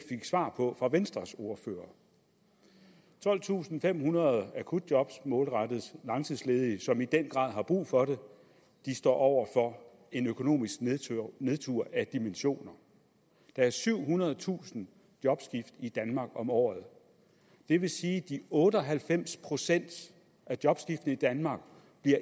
svar på fra venstres ordfører tolvtusinde og femhundrede akutjob målrettes langtidsledige som i den grad har brug for det de står over for en økonomisk nedtur af dimensioner der er syvhundredetusind jobskift i danmark om året det vil sige at otte og halvfems procent af jobskiftene i danmark